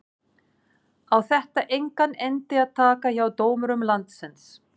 Á þetta engan endi að taka hjá dómurum landsins?